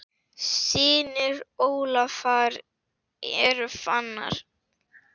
Synir Ólafar eru Fannar.